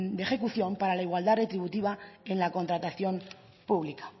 de ejecución para la igualdad retributiva en la contratación pública